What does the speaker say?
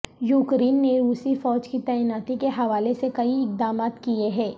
Ukraine نے روسی فوج کی تعیناتی کے حوالے سے کئی اقدامات کیے ہیں